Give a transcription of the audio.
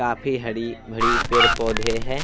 काफी हडी -बड़ी पेड़-पौधे हैं।